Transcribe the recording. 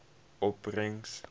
opbrengs